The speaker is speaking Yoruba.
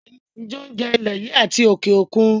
Ìrẹsí jẹ́ oúnjẹ ilè yìí àti òkè òkun.